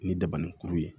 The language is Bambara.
Ni daba ni kuru ye